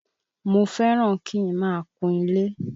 Mo fẹ́ràn kí n máa kun ilé.